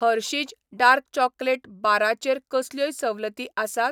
Hershey's dark chocolate बारा चेर कसल्योय सवलती आसात ?